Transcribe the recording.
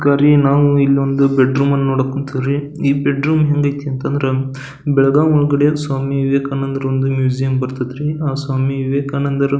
ನಾವು ಒಂದು ಬೆಡ್ರೂಮ್ ಅನ್ನ ನೋಡಕ್ ಹೊಂಟಿವ್ ರೀ ಈ ಬೆಡ್ರೂಮ್ ಹೆಂಗೈತಿ ಅಂತಂದ್ರ ಬೆಳಗಾವ್ ಒಳಗಡೆ ಸ್ವಾಮಿ ವಿವೇಕಾನಂದರ ಒಂದು ಮ್ಯೂಸಿಯಂ ಬರ್ತಾಇತ್ರಿ ಆಹ್ಹ್ ಸ್ವಾಮಿ ವಿವೇಕಾನಂದರ --